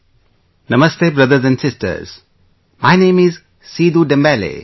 "Namaste, brothers and sisters, my name is Seedu Dembele